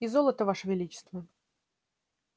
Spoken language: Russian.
и золото ваше величество